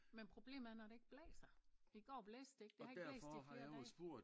Men problemet er når det ikke blæser i går blæste det ikke det har ikke blæst i flere dage